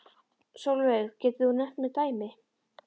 Sólveig: Getur þú nefnt mér dæmi?